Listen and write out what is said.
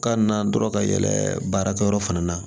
Ka na dɔrɔn ka yɛlɛ baarakɛyɔrɔ fana na